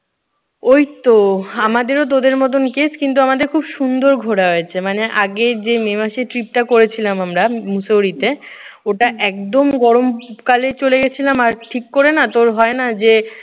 ওইতো আমাদেরও তোদের মতন case কিন্তু আমাদের খুব সুন্দর ঘোরা হয়েছে। মানে আগে যে মে মাসে trip করেছিলাম আমরা মুসৌরিতে। ওটা একদম গরম কালে চলে গেছিলাম আর ঠিক করে তোর হয় না যে